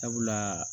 Sabula